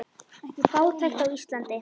Fátækt á Íslandi